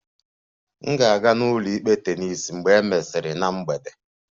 M ga-aga n'ụlọikpe tennis mgbe e mesịrị na mgbede